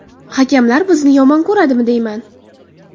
Hakamlar bizni yomon ko‘radimi deyman.